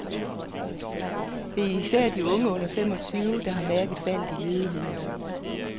Det er især de unge under fem og tyve år, der har mærket faldet i ledigheden.